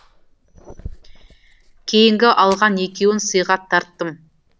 кейінгі алған екеуін сыйға тарттым